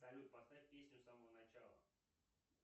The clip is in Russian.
салют поставь песню с самого начала